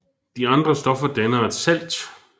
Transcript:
De andre stoffer danner et salt